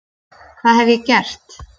Hvað hef ég gert?